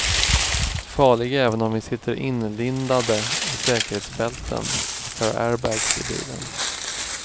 Farlig även om vi sitter inlindade i säkerhetsbälten och har airbags i bilen.